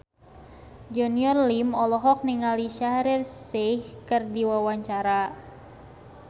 Junior Liem olohok ningali Shaheer Sheikh keur diwawancara